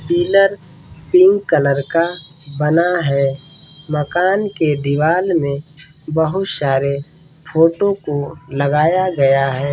Pillar pink colour का बना है मकान के दीवाल में बहुत सारे फोटो को लगाया गया है।